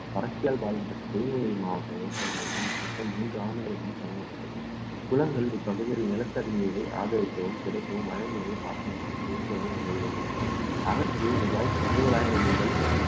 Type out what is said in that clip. வறட்சியால் பாதிக்கப்பட்ட திருநெல்வேலி மாவட்ட விவசாயிகளிடம் இத்திட்டம் மூன்று ஆண்டுகளுக்கு முன் தொடங்கப்பட்டது குளங்கள் இப்பகுதியில் நிலத்தடி நீரை ஆதரிக்கவும் கிடைக்கவும் மழைநீரை அரசு ரூபாய் அறுபதாயிரம் முதல்